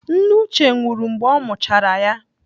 Nne Uche nwụrụ mgbe ọ mụchara ya.